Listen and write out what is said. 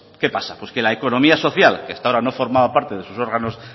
qué pasa pues que la economía social que hasta ahora no formaba parte de sus órganos